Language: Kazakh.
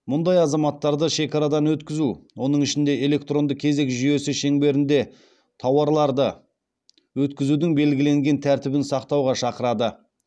мұндай азаматтарды шекарадан өткізу оның ішінде электронды кезек жүйесі шеңберінде тауарларды өткізудің белгіленген тәртібін сақтауға шақырады